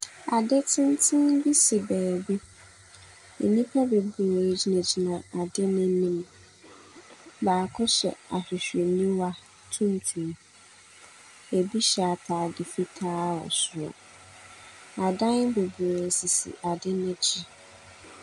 Ade tenten bi si baabi. Nnipa bebree gyinagyina ade no anim. Baako hyɛ ahwehwɛniwa tuntum. Ɛbi hyɛ atade fitaa wɔ soro. Adan bebree sisi adeɛ no akyi.